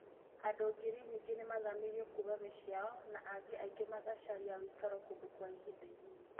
Andũ ngiri nyingĩ nĩ maathamirio kuuma mĩciĩ yao, na angĩ aingĩ magĩcaria ũikaro kũndũ kwa ihinda inini.